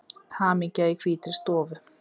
Hamingja í hvítri stofu